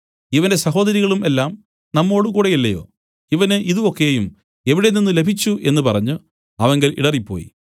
ഇവന്റെ സഹോദരികളും എല്ലാം നമ്മോടുകൂടെയില്ലയോ ഇവന് ഇതു ഒക്കെയും എവിടെ നിന്നുലഭിച്ചു എന്നു പറഞ്ഞു അവങ്കൽ ഇടറിപ്പോയി